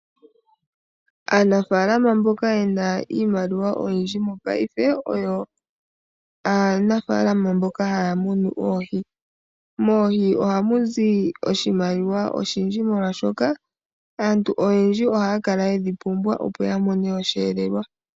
Aanafaalama mboka yena iimaliwa oyindji mopaife oyo aanafaalama mboka haya munu oohi. Moohi ohamu zi oshimaliwa oshindji molwaashoka aantu oyendji ohaya kala yedhi pumbwa opo ya mone osheelelwa.